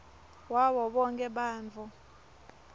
wabo bonkhe bantfu